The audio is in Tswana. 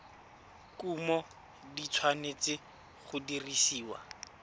kumo di tshwanetse go dirisiwa